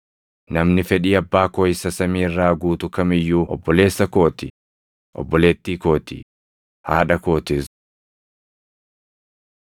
Namni fedhii Abbaa koo isa samii irraa guutu kam iyyuu obboleessa koo ti; obboleettii koo ti; haadha kootis.”